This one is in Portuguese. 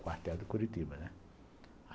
O quartel do Curitiba, né.